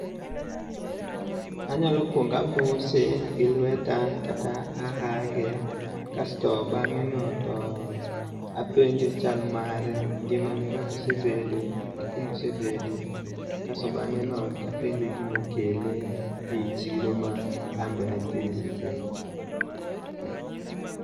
Anyalo kuongo amose gi lweta kata [ahage, kasto bang'eno to apenje chal mare, ngimane kaka osebedo gi kumosebede kasto bang'eno tapenje gimokele eyi chiro ma anbe antie sechego.